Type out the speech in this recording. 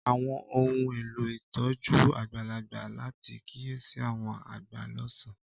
Àwọn ohun elo ìtójú àgbàlagbà láti kiyesi àwọn agba lọsan.